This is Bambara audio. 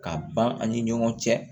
K'a ban an ni ɲɔgɔn cɛ